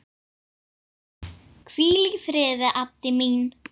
Hvíl í friði, Addý mín.